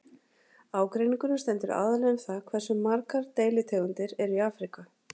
Ágreiningurinn stendur aðallega um það hversu margar deilitegundir eru í Afríku.